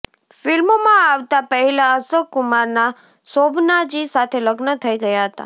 ફ્લ્મિોમાં આવતા પહેલાં અશોક કુમારનાં શોભનાજી સાથે લગ્ન થઇ ગયાં હતાં